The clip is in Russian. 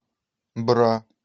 бра